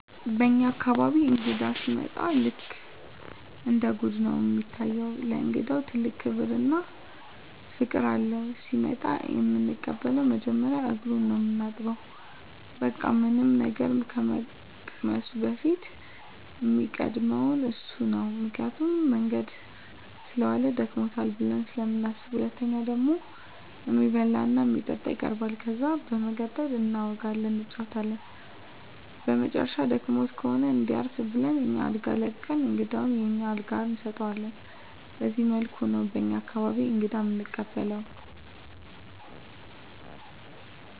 በኛ አካባቢ እንግዳ ሲመጣ ልክ እንደ ገድ ነው እሚታየው። ለእንግዳ ትልቅ ክብር እና ፍቅር አለው። ሲመጣ እምንቀበለው መጀመሪያ እግሩን ነው ምናጥበው በቃ ምንም ነገር ከመቅመሱ በፊት እሚቀድመው እሱ ነው ምክንያቱም መንገድ ሰለዋለ ደክሞታል ብለን ስለምናስብ። ሁለተኛው ደግሞ እሚበላ እና እሚጠጣ ይቀርባል። ከዛ በመቀጠል እናወጋለን እንጫወታለን በመጨረሻም ደክሞት ከሆነ እንዲያርፍ ብለን አኛ አልጋ ለቀን እንግዳውን የኛን አልጋ እንሰጠዋለን በዚህ መልኩ ነው በኛ አካባቢ እንግዳ እምንቀበለው።